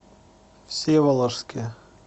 всеволожске